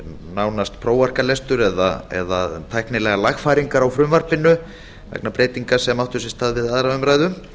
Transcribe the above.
nánast prófarkalestur eða tæknilegar lagfæringar á frumvarpinu vegna breytinga sem áttu sér stað við aðra umræðu